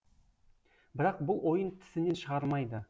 бірақ бұл ойын тісінен шығармайды